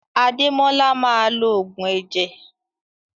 Ademola maa lo ogun eje.